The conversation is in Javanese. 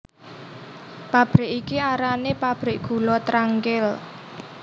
Pabrik iki arané pabrik gula Trangkil